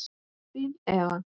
Þín Eva.